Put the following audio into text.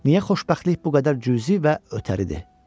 Niyə xoşbəxtlik bu qədər cüzi və ötəridir?